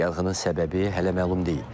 Yanğının səbəbi hələ məlum deyil.